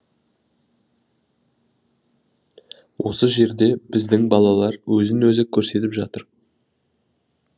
осы жерде біздің балалар өзін өзі көрсетіп жатыр